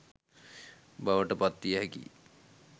බවට පත්විය හැකිය.